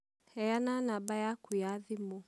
Heana namba yaku ya thimũ.